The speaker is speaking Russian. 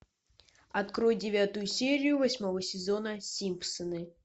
открой девятую серию восьмого сезона симпсоны